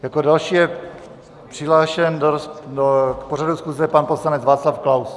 Jako další je přihlášen k pořadu schůze pan poslanec Václav Klaus.